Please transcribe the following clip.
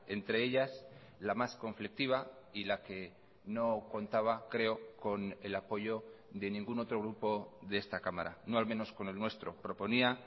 entre ellas la más conflictiva y la que no contaba creo con el apoyo de ningún otro grupo de esta cámara no al menos con el nuestro proponía